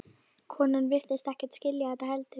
Konan virtist ekkert skilja þetta heldur.